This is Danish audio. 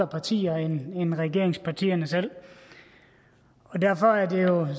partier end regeringspartierne selv og derfor er det jo